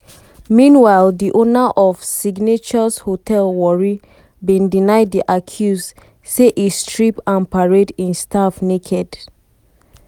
meanwhile di owner of signatious hotel warri bin deny di accuse say e strip and parade im staff naked.